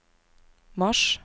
mars